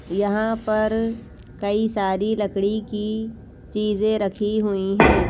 यहां पर कई सारी लकड़ी की चीजें रखी हुई हैं।